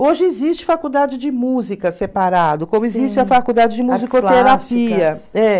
Hoje existe faculdade de música separado, como existe a faculdade de musicoterapia. É.